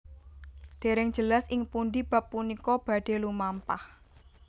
Dèrèng jelas ing pundhi bab punika badhé lumampah